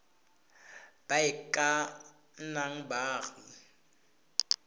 ba e ka nnang baagi